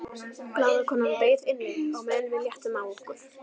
Blaðakonan beið inni á meðan við léttum á okkur.